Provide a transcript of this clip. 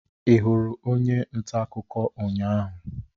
Ị hụrụ onye nta akụkọ ụnyahụ?